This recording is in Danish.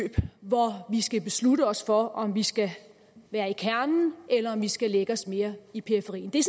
hvor vi skal beslutte os for om vi skal være i kernen eller om vi skal lægge os mere i periferien det